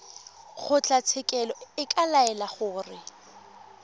kgotlatshekelo e ka laela gore